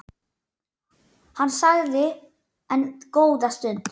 Hann þagði enn góða stund.